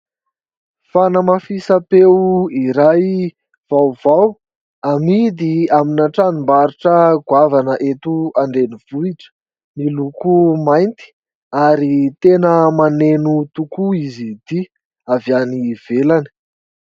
Fanamafisam-peo iray vaovao, amidy amina tranombarotra goavana eto an-drenivohitra, miloko mainty ary tena maneno tokoa izy ity ; avy any ivelany.